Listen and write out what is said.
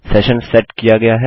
session set किया गया है